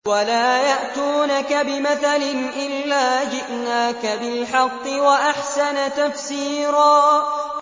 وَلَا يَأْتُونَكَ بِمَثَلٍ إِلَّا جِئْنَاكَ بِالْحَقِّ وَأَحْسَنَ تَفْسِيرًا